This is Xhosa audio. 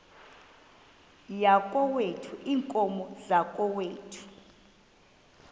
yakokwethu iinkomo zakokwethu